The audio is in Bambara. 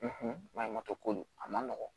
maɲumatɔ ko don a man nɔgɔn